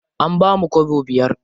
An bamu kwabo biyar.